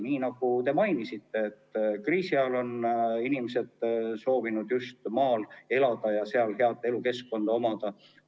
Nii nagu te mainisite, kriisi ajal on inimesed soovinud just maal elada ja seal head elukeskkonna omada.